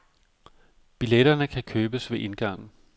Billetterne kan købes ved indgangen.